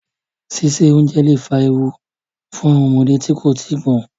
Síse oúnjẹ lẹ̀ fa ewu fún ọmọdé tí kò tíì gbọ́n.